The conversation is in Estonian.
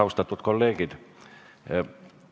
Austatud kolleegid!